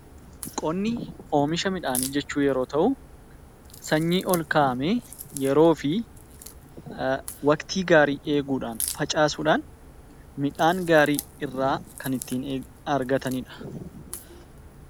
Qonni oomisha midhaanii yeroo ta'u, sanyii ol kaa'amee yeroof waqtii gaarii eeguun facaasuun, midhaan gaarii irraa kan argatanidha.